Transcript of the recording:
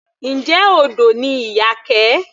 Njẹ́ odò ni Iyake.